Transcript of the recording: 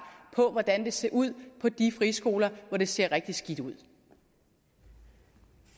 på hvordan det ser ud på de friskoler hvor det ser rigtig skidt ud